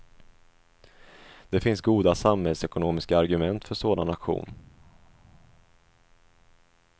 Det finns goda samhällsekonomiska argument för sådan aktion.